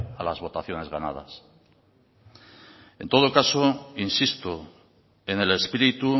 a las votaciones ganadas en todo caso insisto en el espíritu